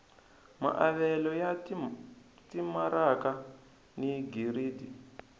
maavelo ya timaraka ni giridi